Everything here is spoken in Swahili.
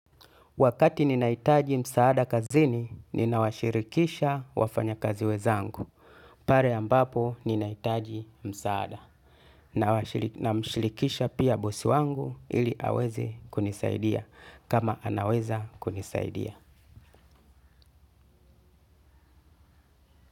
Wakati ninahitaji msaada kazini, ninawashirikisha wafanya kazi wezangu. Pare ambapo ninaitaji msaada. Na mshirikisha pia bosi wangu ili aweze kunisaidia kama anaweza kunisaidia.